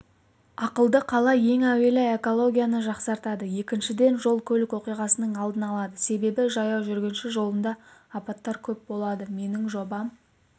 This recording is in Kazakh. ақылды қала ең әуелі экологияны жақсартады екіншіден жол көлік оқиғасының алдын алады себебі жаяу жүргінші жолында апаттар көп болады менің жобам